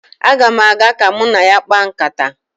Aga m aga ka mụ na ya kpaa nkata